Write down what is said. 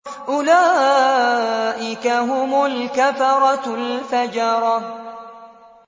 أُولَٰئِكَ هُمُ الْكَفَرَةُ الْفَجَرَةُ